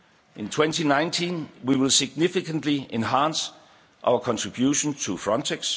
words. In 2019, we will significantly enhance our contribution to Frontex.